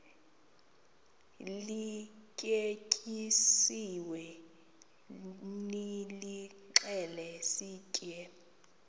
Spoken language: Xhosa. lityetyisiweyo nilixhele sitye